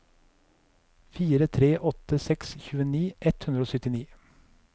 fire tre åtte seks tjueni ett hundre og syttini